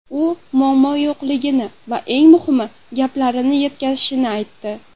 U muammo yo‘qligini va eng muhimi gaplarini yetkazishimni aytdi.